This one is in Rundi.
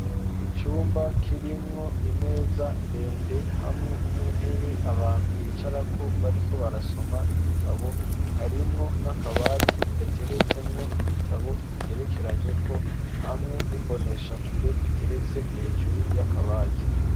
Icumba kirimwo imeza ndende hamwe n'intebe abantu bicara ko bari ko barasoma ibitabo harimwo n'akabati gateretsemwo ibitabo bigerekeranye ko hamwe n'imboneshakure iteretse hejuru y'akabati.